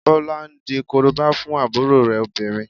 Bọlá di Korobá fún àbúrò rẹ̀ obìnrin